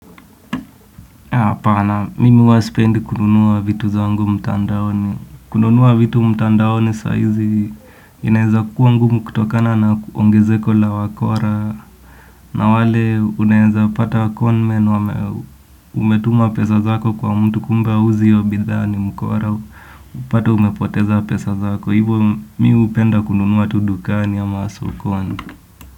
Hapana, mimi huwa sipendi kununua vitu zangu mtandaoni. Kununua vitu mtandaoni sahizi inaweza kuwa ngumu kutokana na kuongezeko la wakora. Na wale unaweza pata konmen umetuma pesa zako kwa mtu kumbe hauzi hiyo bidhaa ni mkora. Unapata umepoteza pesa zako. Hivo mimi hupenda kununua tu dukani ama sokoni.